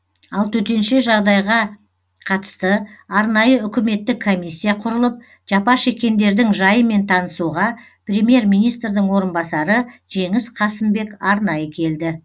ал төтенше жағдайға қатысты арнайы үкіметтік комиссия құрылып жапа шеккендердің жайымен танысуға премьер министрдің орынбасары жеңіс қасымбек арнайы келді